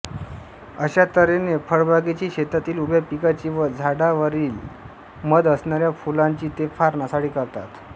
अशा तऱ्हेने फळबागेची शेतातील उभ्या पिकाची व झाडांवरीलमध असणाऱ्या फुलांची ते फार नासाडी करतात